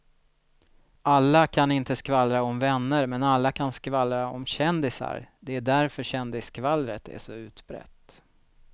Alla kan inte skvallra om vänner men alla kan skvallra om kändisar, det är därför kändisskvallret är så utbrett.